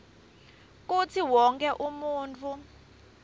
kutsi wonkhe umuntfu